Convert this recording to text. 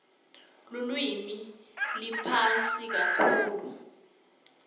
lulwimi liphasi kakhulu